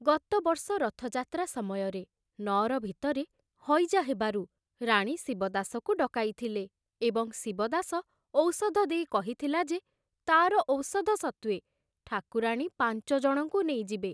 ଗତବର୍ଷ ରଥଯାତ୍ରା ସମୟରେ ନଅର ଭିତରେ ହଇଜା ହେବାରୁ ରାଣୀ ଶିବଦାସକୁ ଡକାଇଥିଲେ ଏବଂ ଶିବଦାସ ଔଷଧ ଦେଇ କହିଥିଲା ଯେ ତାର ଔଷଧ ସତ୍ତ୍ବେ ଠାକୁରାଣୀ ପାଞ୍ଚଜଣଙ୍କୁ ନେଇଯିବେ ।